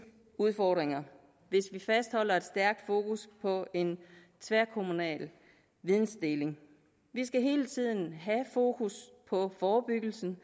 udfordringer hvis vi fastholder et stærkt fokus på en tværkommunal videndeling vi skal hele tiden have fokus på forebyggelse